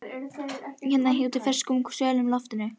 ars undarlega góð hérna úti í fersku og svölu loftinu.